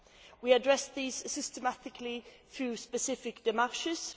We address these systematically through specific démarches.